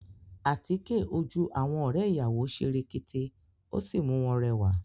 Àtíkè ojú àwọn ọ̀rẹ́ ìyàwó ṣe rekete, ó sì mú wọn rẹwà